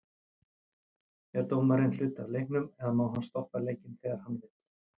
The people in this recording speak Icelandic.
Er dómarinn hluti af leiknum eða má hann stoppa leikinn þegar hann vill?